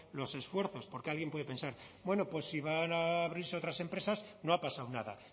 los esfuerzos porque alguien puede pensar bueno pues si van a abrirse otras empresas no ha pasado nada